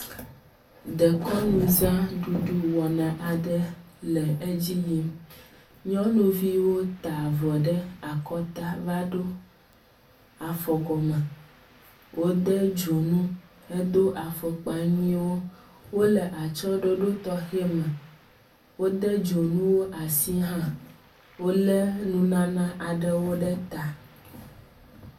Dekɔnuza ɖuɖu wɔna aɖe le edzi yim. Nyɔnuviwo ta avɔ ɖe akɔta va ɖo afɔgɔme. Wode dzonu hedo afɔkpa nyuiwo. Wo le atsɔɖoɖo tɔxe me. wode dzonuwo asi hã. Wo le nunana aɖewo ɖe ta.